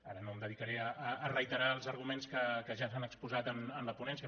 ara no em dedicaré a reiterar els arguments que ja s’han exposat en la ponència